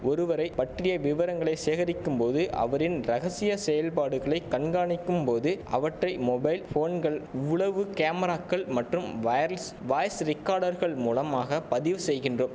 ஒருவரை பற்றிய விவரங்களை சேகரிக்கும் போது அவரின் ரகசிய செயல்பாடுகளை கண்காணிக்கும் போது அவற்றை மொபைல் போன்கள் உளவு கேமராக்கள் மற்றும் வைர்ல்ஸ் வாய்ஸ் ரிக்கார்டர்கள் மூலமாக பதிவு செய்கின்றோ